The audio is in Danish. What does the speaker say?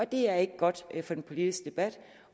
det er ikke godt for den politiske debat